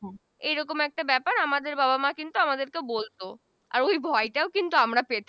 এই রকম একটা ব্যাপার আমাদের বাবা মা কিন্তু আমাদের বলতো ওই ভয় তও আমরা পেতাম